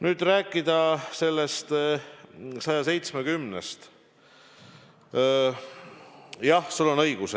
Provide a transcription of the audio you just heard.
Nüüd, kui rääkida eelnõust 170, siis jah, sul on õigus.